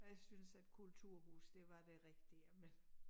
Jeg synes at kulturhus det var det rigtige men